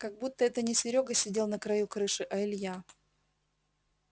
как будто это не серёга сидел на краю крыши а илья